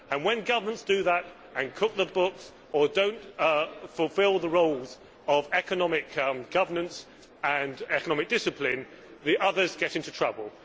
When governments do that and cook the books, or do not fulfil the roles of economic governance and economic discipline, the others get into trouble.